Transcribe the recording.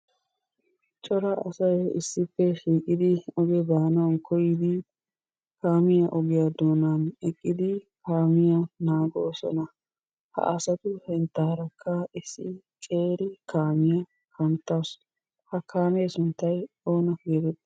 Cora asay issippe shiiqidi ogge baanawu koyiddi kaamiyaa ogiyaa doonani eqqidi kaamiyaa naagossona. Ha asattu sinttarakka issi qeeri kaamiyaa kanttawusu he kaamee sunttay oona geetteti?